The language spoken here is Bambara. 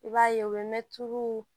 I b'a ye u bɛ mɛtuw